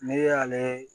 Ne y'ale